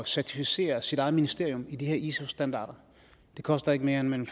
certificere sit eget ministerium i de her iso standarder det koster ikke mere end mellem